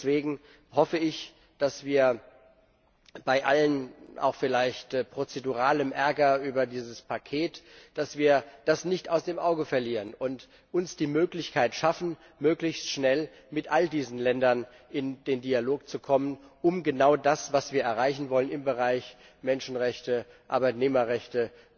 Deswegen hoffe ich, dass wir bei allem vielleicht auch prozeduralen Ärger über dieses Paket das nicht aus dem Auge verlieren und uns die Möglichkeit schaffen, möglichst schnell mit allen diesen Ländern in den Dialog zu kommen, um genau das, was wir im Bereich Menschenrechte, Arbeitnehmerrechte